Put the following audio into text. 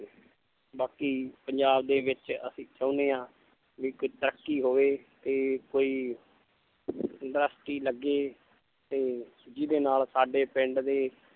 ਬਾਕੀ ਪੰਜਾਬ ਦੇ ਵਿੱਚ ਅਸੀਂ ਚਾਹੁੰਦੇ ਹਾਂ ਵੀ ਕੋਈ ਤਰੱਕੀ ਹੋਵੇ ਤੇ ਕੋਈ industry ਲੱਗੇ ਤੇ ਜਿਹਦੇ ਨਾਲ ਸਾਡੇ ਪਿੰਡ ਦੇ